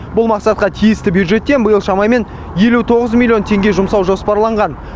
бұл мақсатқа тиісті бюджеттен биыл шамамен елу тоғыз миллион теңге жұмсау жоспарланған